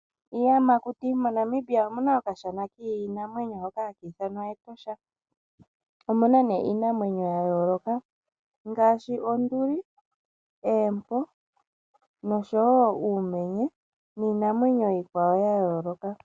Iiyamakuti, moNamibia omu na okashana kiinamwenyo hoka ha ka ithanwa Etosha. Omuna nee iinamwenyo yaa yooloka ngaashi, Onduli, Eempo, noshowo Uumenye niinamwenyo iikwawo ya yooloka.